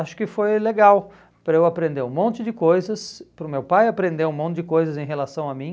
Acho que foi legal para eu aprender um monte de coisas, para o meu pai aprender um monte de coisas em relação a mim.